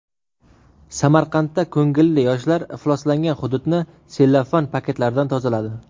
Samarqandda ko‘ngilli yoshlar ifloslangan hududni sellofan paketlardan tozaladi.